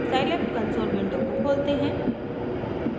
Scilab console window को खोलते हैं